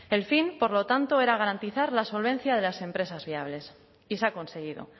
el fin por lo tanto era garantizar la solvencia de las empresas viables y se ha conseguido